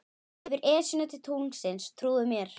Yfir Esjuna til tunglsins, trúðu mér.